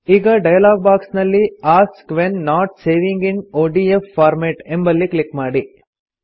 ಈಗ dialogue box ನಲ್ಲಿ ask when not saving in ODF format ಎಂಬಲ್ಲಿ ಕ್ಲಿಕ್ ಮಾಡಿ